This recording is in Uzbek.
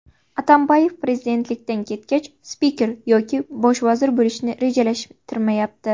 Atambayev prezidentlikdan ketgach spiker yoki bosh vazir bo‘lishni rejalashtirmayapti.